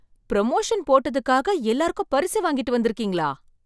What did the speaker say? Promotion போட்டதுக்காண்டி எல்லார்த்துக்கும் பரிசு வாங்கிட்டு வந்திருக்கீங்களா?